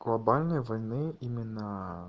глобальные войны имена